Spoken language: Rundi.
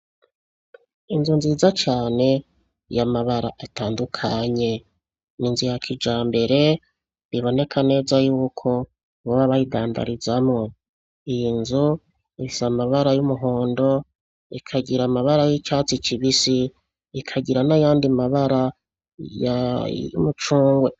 Inzu nziza cane yamabara atandukanye ninzu ya kijambere biboneka neza yuko boba bayidandarizamwo iyi nzu ifise amabara yumuhondo ikagira amabara yicatsi kibisi ikagira nayandi mabara yumucungwe